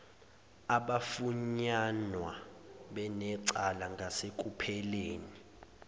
abafunyanwa benecala ngasekupheleni